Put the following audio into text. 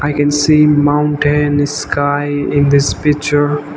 can see mountain sky in this picture.